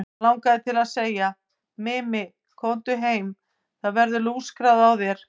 Hann langaði til að segja: Mimi, komdu heim, það verður lúskrað á þér.